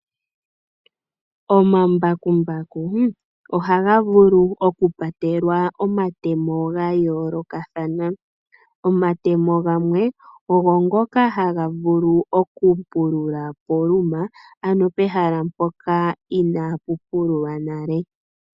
Omambakumbaku ohaga vulu okupatelwa omatemo ga yoolokathana. Omatemo gamwe ogo ngoka haga vulu okupulula poluma, ano pehala mpoka inaapu pululwa nale.